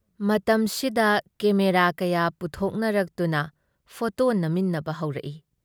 ꯃꯇꯝꯁꯤꯗ ꯀꯦꯃꯦꯔꯥ ꯀꯌꯥ ꯄꯨꯊꯣꯛꯅꯔꯛꯇꯨꯅ ꯐꯣꯇꯣ ꯅꯝꯃꯤꯟꯅꯕ ꯍꯧꯔꯛꯏ ꯫